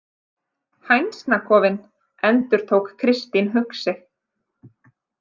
Hænsnakofinn, endurtók Kristín hugsi.